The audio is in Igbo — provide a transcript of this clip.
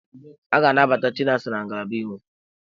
A ga-anabata Chinasa na ngalaba iwu.